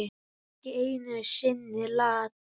Ekki einu sinni Lat.